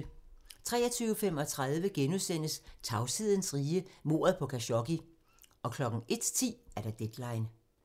23:35: Tavshedens rige - mordet på Khashoggi * 01:10: Deadline